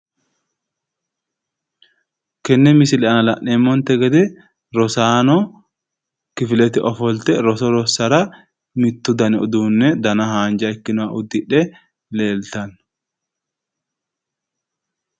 Tene misile aana la'neemmonte gede rosaano uniforme udidhe mittu dani uduune haanja udine nootta xawisano